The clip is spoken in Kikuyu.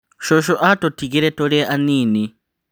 Cũcũ atũtigire tũrĩ anini.